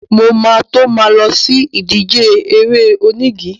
Mo ma tó ma lọ sí ìdíje eré onígi.